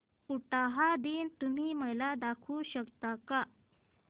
उटाहा दिन तुम्ही मला दाखवू शकता का